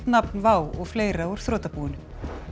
nafn WOW og fleira úr þrotabúinu